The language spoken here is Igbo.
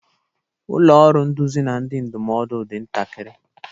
Ụlọ ọrụ nduzi na ndị ndụmọdụ dị ntakịrị.